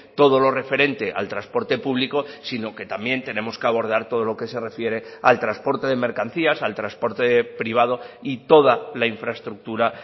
todo lo referente al transporte público sino que también tenemos que abordar todo lo que se refiere al transporte de mercancías al transporte privado y toda la infraestructura